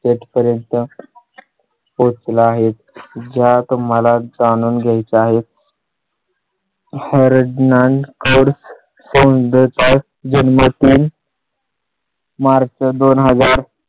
Set पर्यंत पोहोचला आहेत ज्या तुम्हाला. जाणून घ्याय चं आहे . हर्नान खर्च होतात जन्मत मी. मार्च दोन हजार